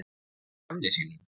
Að gamni sínu?